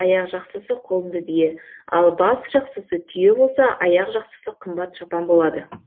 аяқжақсысы құлынды бие ал басжақсысы түйе болса аяқжақсысы қымбат шапан болады